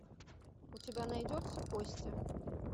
у тебя найдется кости